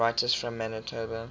writers from manitoba